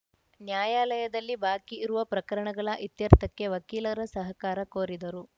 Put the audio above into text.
ನ್ಯಾಯಾಲಯದಲ್ಲಿ ಬಾಕಿ ಇರುವ ಪ್ರಕರಣಗಳ ಇತ್ಯರ್ಥಕ್ಕೆ ವಕೀಲರ ಸಹಕಾರ ಕೋರಿದರು